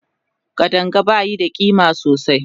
Kadanga bayi da ƙima sosai